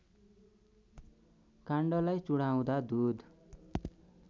काण्डलाई चुडाउँदा दुध